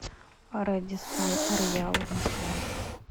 рэдиссон роял москва